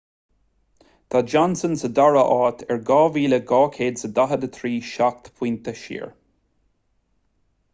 tá johnson sa dara háit ar 2,243 seacht bpointe siar